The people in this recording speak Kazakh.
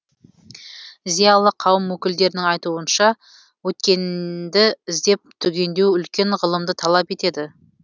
зиялы қауым өкілдерінің айтуынша өткенді іздеп түгендеу үлкен ғылымды талап етеді